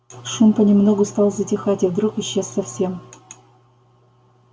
шум понемногу стал затихать и вдруг исчез совсем